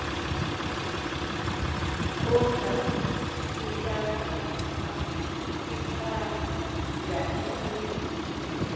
ongafika iphanda imi